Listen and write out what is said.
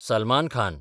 Salman Khan